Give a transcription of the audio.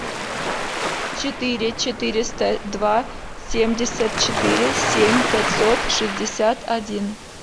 четыре четыреста два семьдесят четыре семь пятьсот шестьдесят один